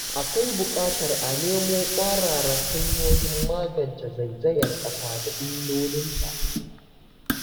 Akwai buƙatar a nemo ƙwararan hanyoyin magance zaizayar ƙasa da illolinta.